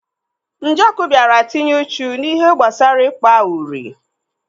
Njoku biara tinye uchu n'ihe gbasara ikpa uri.